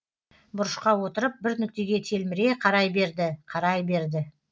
бұрышқа отырып бір нүктеге телміре қарай берді қарай берді